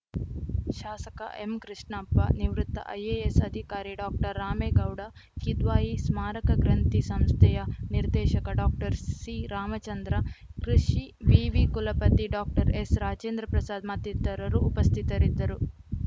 ಶಾಸಕ ಎಂ ಕೃಷ್ಣಪ್ಪ ನಿವೃತ್ತ ಐಎಎಸ್‌ ಅಧಿಕಾರಿ ಡಾಕ್ಟರ್ ರಾಮೇಗೌಡ ಕಿದ್ವಾಯಿ ಸ್ಮಾರಕ ಗ್ರಂಥಿ ಸಂಸ್ಥೆಯ ನಿರ್ದೇಶಕ ಡಾಕ್ಟರ್ಸಿರಾಮಚಂದ್ರ ಕೃಷಿ ವಿವಿ ಕುಲಪತಿ ಡಾಕ್ಟರ್ಎಸ್‌ರಾಜೇಂದ್ರಪ್ರಸಾದ್‌ ಮತ್ತಿತರರು ಉಪಸ್ಥಿತರಿದ್ದರು